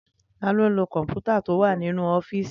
Taló n lo kọ̀mpútà tó wà nínú ọ́fìsì mi?